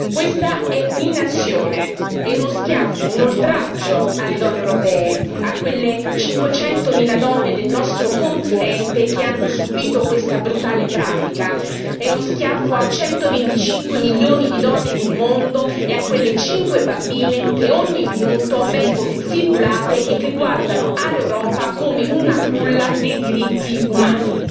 Questa è un'inazione, è uno schiaffo, un oltraggio alle donne europee, a quelle 500 mila donne del nostro continente che hanno subito questa brutale pratica, è uno schiaffo a 125 milioni di donne nel mondo e a quelle 5 bambine che ogni minuto vengono infibulate e che guardano all'Europa come a una culla dei diritti umani.